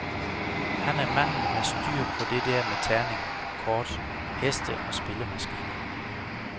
Han er manden med styr på det der med terninger, kort, heste og spillemaskiner.